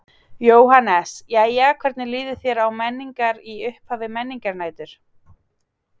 Jóhannes: Jæja hvernig líður þér á Menningar, í upphafi Menningarnætur?